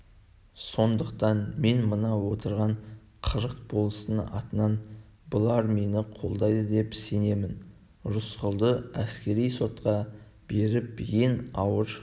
сондықтан мен мына отырған қырық болыстың атынан бұлар мені қолдайды деп сенемін рысқұлды әскери сотқа беріп ең ауыр